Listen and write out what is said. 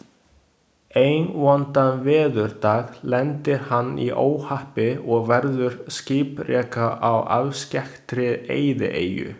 Einn vondan veðurdag lendir hann í óhappi og verður skipreka á afskekktri eyðieyju.